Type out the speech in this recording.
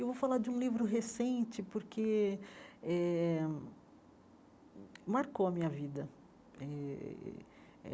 Eu vou falar de um livro recente, porque eh marcou a minha vida eh.